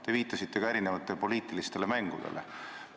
Te viitasite ka poliitilistele mängudele.